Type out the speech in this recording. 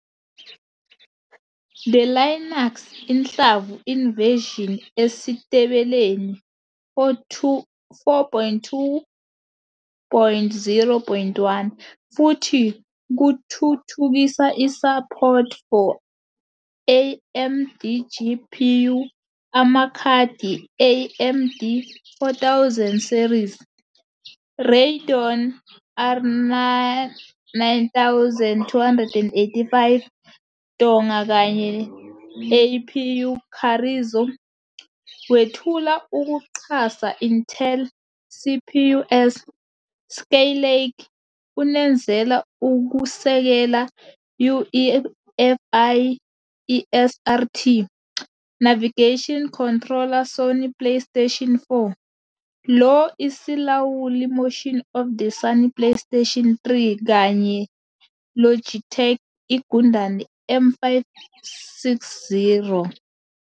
The Linux inhlamvu in version esitebeleni 4.2.0.1 futhi kuthuthukisa support for AMDGPU amakhadi AMD 4000 series, Radeon R9 285 Tonga kanye APU Carrizo, wethula ukuxhasa Intel CPUs Skylake, unezela ukusekela UEFI ESRT, Navigation Controller Sony PlayStation 4, lo isilawuli motion of the Sony PlayStation 3 kanye Logitech igundane M560.